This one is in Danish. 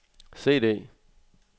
CD